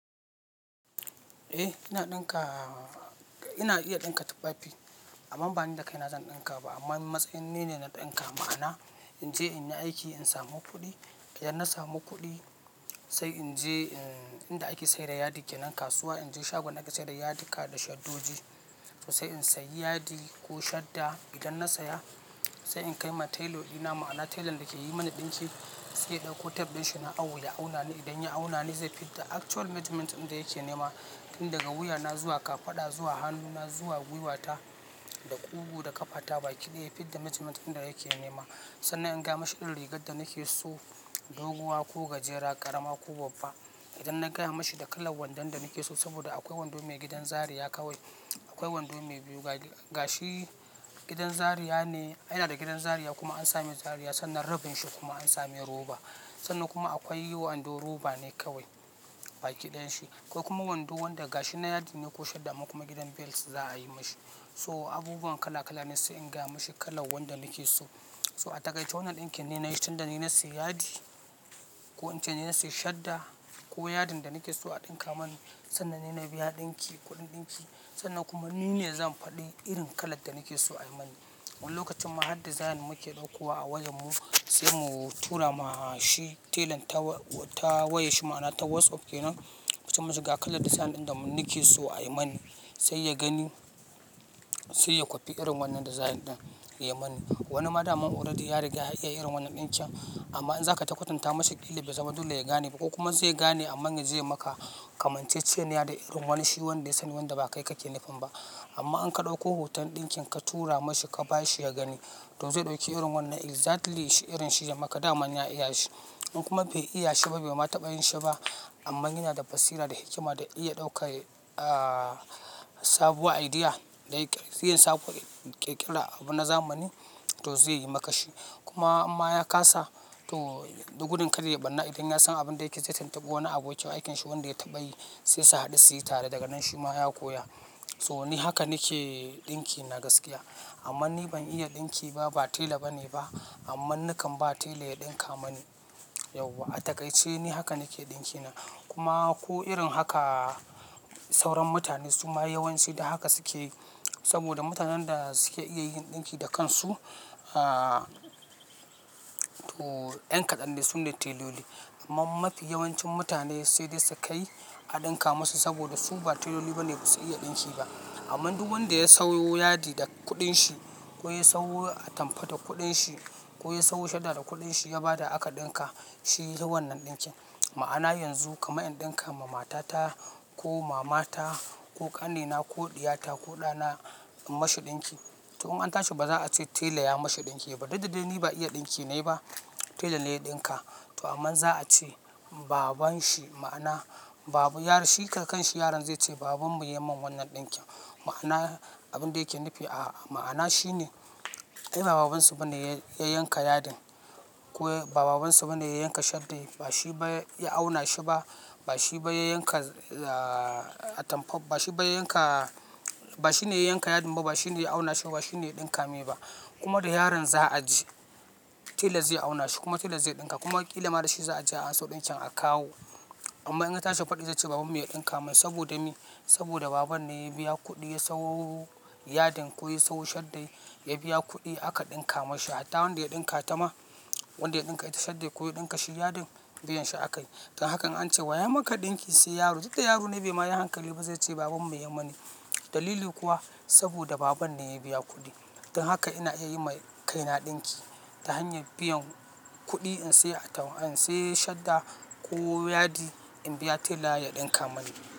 Eh ina ɗinka, ina iya ɗinka tufafi amma bani da kaina zan ɗinka ba amma matsayin ne na ɗinka. Ma'ana in je in yi aiki in samu kuɗi, idan na samu kuɗi sai in je inda ake sayar da yadi kenan kasuwa, in je shagon da a ke sayar da yadika da shaddoji. To sai in sayi yadi ko shadda. Idan na saya sai in kai ma tailor ɗina ma'ana tailan da ke yi mana ɗinki sai ya ɗauko tape ɗin shi na awo ya auna ni. Idan ya auna ni zai fidda actual measurement ɗinda yake nema. Tun daga wuya na zuwa kafaɗa zuwa hannuna zuwa gwiwata da ƙugu da ƙafata baki ɗaya ya fidda measurement ɗinda yake nema. Sannan in gaya mashi irin rigar da nake so, doguwa ko gajera, ƙarama ko babba. Idan na gaya mashi da kalan wandon da nake so saboda akwai wando mai gidan zaria kawai, akwai wando mai biyu gashi gidan zaria ne. Yana da gidan zaria kuma an samai zaria sannan rabin shi kuma an samai roba. Sannan kuma akwai wando roba ne kawai baki ɗayanshi. Akwai kuma wando wanda gashi nan yadi ne ko shadda amma kuma gidan bel za a yi mashi. So abubuwan kala kala ne sai in gaya mashi kalan wanda nake so. So a takaice wannan ɗinkin ni na yi shi tunda ni na sayi yadi ko in ce ni na sayi shadda ko yadin da nake so a ɗinka mani sannan ni na biya ɗinki kuɗin ɗinki sannan kuma ni ne zan faɗi irin kalar da nake so a yi mani. Wani lokacin ma har design muke ɗaukowa a wayar mu sai mu tura ma shi tailan ta wayar shi ma'ana ta WhatsApp kenan, muce mashi ga kalar design ɗin da nake so a yi mani. Sai ya gani sai ya kwafi irin wannan design ɗin ya yi mani. Wani ma daman already ya riga ya iya irin wannan ɗinkin amma in za ka ta kwatanta mashi ƙila bai zama dole ya gane ba ko kuma zai gane amma ya je ya yi maka kamanceceniya da irin wani shi wanda ya sani wanda ba kai kake nufin ba. Amma in ka ɗauko hoton ɗinkin ka tura mashi ka bashi ya gani to zai ɗauki irin wannan exactly irin shi ya maka. Daman ya iya shi. In kuma bai iya shi ba, bai ma taɓa yin shi ba amma yana da basira da hikima da iya ɗaukar a, sabuwar idea da yake siyan sabuwar ƙirƙira abu na zamani toh zai yi maka shi. Kuma imma ya kasa to gudun kar ya yi ɓarna idan ya san abin da yake yi zai tuntuɓi wani abokin aikin shi wanda ya taɓa yi sai su haɗu su yi tare daga nan shi ma ya koya. So ni haka nake ɗinki na gaskiya amma ni ban iya ɗinki ba, ba tela bane ba amma nakan ba tela ya ɗinka mani yauwa. A takaice ni haka nake ɗinki na kuma ko irin haka sauran mutane suma yawanci da haka suke yi, saboda mutanen da suke iya yin ɗinki da kansu a, toh 'yan kaɗan dai sune teloli. Amma mafi yawancin mutane sai dai su kai a ɗinka masu saboda su ba teloli bane ba su iya ɗinki ba. Amma duk wanda ya sayo yadi da kuɗin shi ko ya sayo atampa da kuɗin shi ko ya sayo shadda da kuɗin shi ya bada aka ɗinka shi ya yi wannan ɗinkin. Ma'ana yanzu kamar in ɗinka ma matata ko mamata ko ƙanina ko ɗiyata ko ɗana in mashi ɗinki. Toh in an tashi ba za a ce tela ya mashi ɗinki ba. Duk da dai ni ba iya ɗinki na yi ba tela ne ya ɗinka. Toh aman za a ce baban shi ma'ana baban yaron shi kan kanshi yaron zai ce babanmu ya yi min wannan ɗinkin. Ma'ana abin da yake nufi a, ma'ana shine ai ba baban su bane ya yanka yadin. Ko ba baban su bane ya yanka shaddan. Ba shi ba ya auna shi ba. Ba shi ba ya yanka a, atampa ba. Ba shi ba ya yanka ba shi ne ya yanka yadin ba ba shi ne ya auna shi ba ba shi ne ya ɗinka mai ba kuma da yaron za a je tela zai auna shi kuma tela zai ɗinka kuma ƙila ma da shi za a je a amso ɗinkin a kawo. Amma in ya tashi faɗi zai ce babanmu ya ɗinka mani saboda me? Saboda baban ne ya biya kuɗi ya sayo yadin ko ya sayo shaddan. Ya biya kuɗi aka ɗinka mashi. Hatta wanda ya ɗinka ta ma wanda ya ɗinka ta shadda ko ya ɗinka shi yadin biyan shi aka yi. Don hakan in an ce wa ya maka ɗinki sai yaro. Shi kam yaro ne bai ma yi hankali ba zai ce babanmu ya yi mani. Dalili kuwa saboda baban ne ya biya kuɗi. Don haka ina iya yi ma kaina ɗinki ta hanyar biyan kuɗi in sayi atampa, in sayi shadda ko yadi in biya tela ya ɗinka mani.